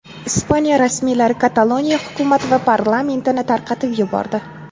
Ispaniya rasmiylari Kataloniya hukumati va parlamentini tarqatib yubordi.